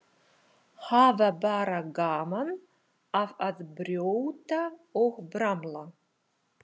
Hafa bara gaman af að brjóta og bramla.